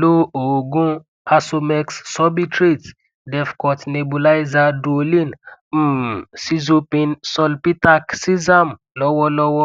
lo oogun asomex sorbitrate defcort nebulizer duolin um sizopin sulpitac zicam lọwọlọwọ